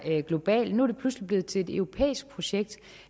global nu er det pludselig blevet til et europæisk projekt